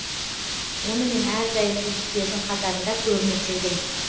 онымен әрдайым үздіктердің қатарында көрініп жүрдім